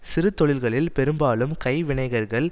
சிறுதொழில்களில் பெரும்பாலும் கைவினைஞர்கள்